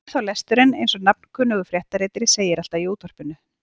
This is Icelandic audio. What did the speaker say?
Ég hef þá lesturinn eins og nafnkunnur fréttaritari segir alltaf í útvarpinu.